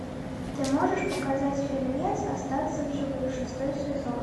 ты можешь показать фильмец остаться в живых шестой сезон